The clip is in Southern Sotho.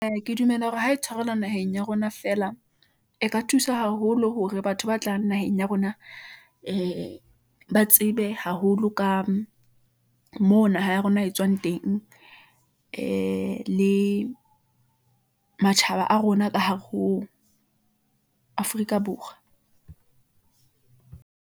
Ee, ke dumela hore ha e tshwarelwa naheng ya rona feela , e ka thusa haholo hore batho ba tlang naheng ya rona , ee ba tsebe haholo ka mona naha ya rona e tswang teng , ee le matjhaba a rona ka hare ho Afrika Borwa.